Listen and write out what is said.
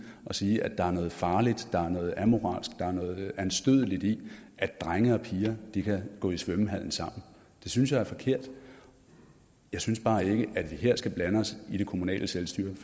og sige at der er noget farligt der er noget amoralsk der er noget anstødeligt i at drenge og piger kan gå i svømmehallen sammen det synes jeg er forkert jeg synes bare ikke at vi her skal blande os i det kommunale selvstyre